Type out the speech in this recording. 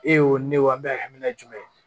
E y'o ne wa n bɛ ka hakilina jumɛn ye